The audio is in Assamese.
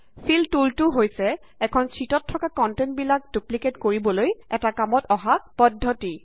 ফিল টুলটো হৈছে এখন শ্যিটত থকা কন্টেন্ট বিলাক ডুপ্লিকেইট কৰিবলৈ এটা কামত অহা পদ্ধতি